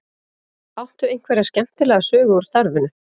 Áttu einhverja skemmtilega sögu úr starfinu?